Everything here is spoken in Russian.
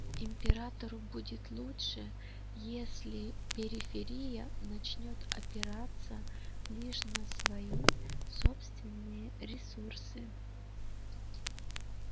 императору будет лучше если периферия начнёт опираться лишь на свои собственные ресурсы